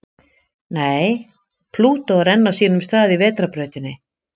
Nei, Plútó er enn á sínum stað í Vetrarbrautinni.